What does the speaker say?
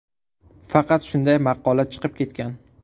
Faqat shunday maqola chiqib ketgan.